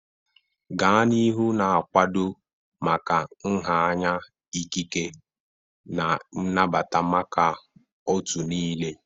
Gaa n'ihu na-akwado maka nha anya ikike na nnabata maka otu niile.